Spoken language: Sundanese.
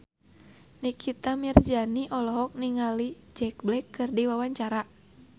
Nikita Mirzani olohok ningali Jack Black keur diwawancara